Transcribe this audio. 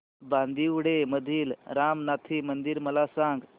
बांदिवडे मधील रामनाथी मंदिर मला सांग